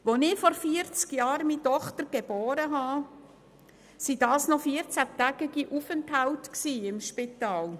Als ich vor vierzig Jahren meine Tochter geboren habe, blieben die Frauen noch 14 Tage lang im Spital.